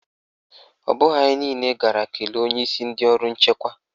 Ọ bụghị anyị niile gara kelee onyeisi ndị ọrụ nchekwa.